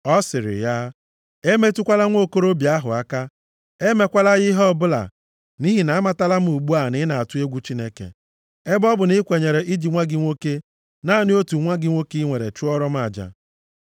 Ọ sịrị ya, “Emetụkwala nwokorobịa ahụ aka. Emekwala ya ihe ọbụla. Nʼihi na amatala m ugbu a na ị na-atụ egwu Chineke, ebe ọ bụ na i kwenyere iji nwa gị nwoke, naanị otu nwa nwoke i nwere chụọrọ m aja.”